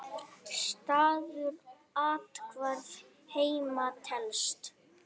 Staður athvarf heima telst.